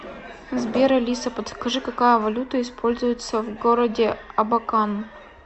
сбер алиса подскажи какая валюта используется в городе абакан